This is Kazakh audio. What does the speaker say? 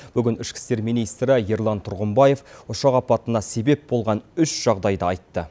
бүгін ішкі істер министрі ерлан тұрғымбаев ұшақ апатына себеп болған үш жағдайды айтты